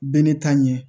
Bɛɛ ne ta ɲɛ